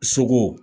Sogo